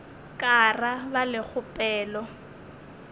ka ra ba le kgopelo